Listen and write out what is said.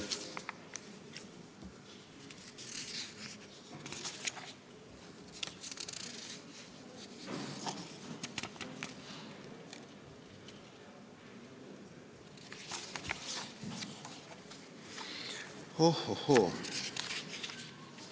Oh-oh-hoo!